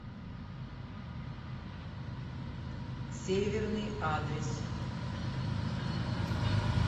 северный адрес